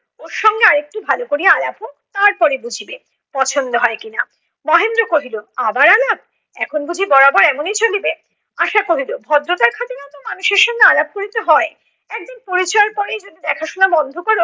ওর সঙ্গে আর একটু ভাল করিয়া আলাপ হোক, তারপরে বুঝিবে পছন্দ হয় কি না। মহেন্দ্র কহিল, আবার আলাপ! এখন বুঝি বরাবর এমনই চলিবে? আশা কহিল ভদ্রতার খাতিরেও তো মানুষের সঙ্গে আলাপ করিতে হয়। একদিন পরিচয়ের পরেই যদি দেখা শোনা বন্ধ করো